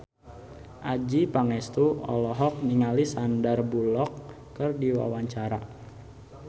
Adjie Pangestu olohok ningali Sandar Bullock keur diwawancara